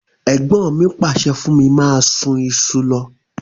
Ègbọ́n mi pàsẹ fún mí máa sun isu lo